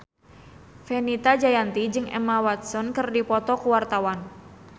Fenita Jayanti jeung Emma Watson keur dipoto ku wartawan